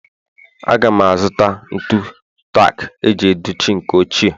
Aga m azụta ntu tak iji dochie nke ochie